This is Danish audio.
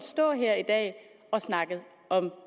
stå her i dag og snakke om